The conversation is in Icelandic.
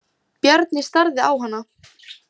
Bjarni starði á hana.